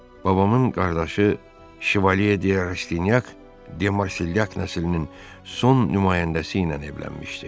Babamın qardaşı şivalye de Rastinyak de Marselyak nəslinin son nümayəndəsi ilə evlənmişdi.